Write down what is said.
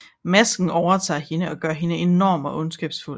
Masken overtager hende og gør hende enorm og ondskabsfuld